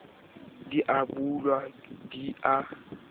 di a bulwa di a